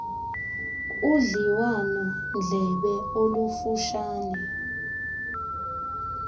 udliwano ndlebe olufutshane